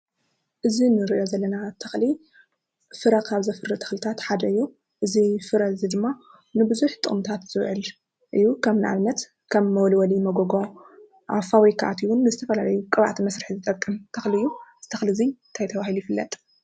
እዚ ንሪኦ ዘለና ተኽሊ ፍረ ካብ ዘፍሪ ተኽልታት ሓደ እዩ። እዚ ፍረ እዚ ድማ ንብዙሕ ጥቅምታት ዝዉዕል እዩ። ኣብነት ከም መወልወሊ መጎጎ፣ ኣብ ፋብሪካ ኣትዩ እውን ንዝተፈላለዩ ቅብኣት መስርሒ ዝጠቅም ተኽሊ እዩ። እዙይ ተኽሊ እዚ እንታይ ተባሂሉ ይፍለጥ ?